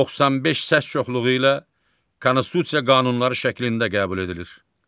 95 səs çoxluğu ilə konstitusiya qanunları şəklində qəbul edilir.